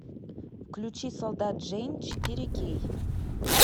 включи солдат джейн четыре кей